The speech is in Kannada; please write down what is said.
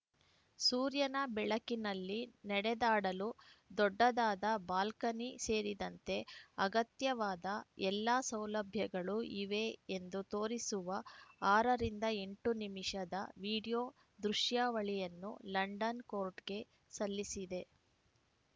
ಸೂರ್ಯನ ಬೆಳಕಿನಲ್ಲಿ ನಡೆದಾಡಲು ದೊಡ್ಡದಾದ ಬಾಲ್ಕನಿ ಸೇರಿದಂತೆ ಅಗತ್ಯವಾದ ಎಲ್ಲ ಸೌಲಭ್ಯಗಳೂ ಇವೆ ಎಂದು ತೋರಿಸುವ ಆರ ರಿಂದ ಎಂಟು ನಿಮಿಷದ ವಿಡಿಯೋ ದೃಶ್ಯಾವಳಿಯನ್ನು ಲಂಡನ್‌ ಕೋರ್ಟ್‌ಗೆ ಸಲ್ಲಿಸಿದೆ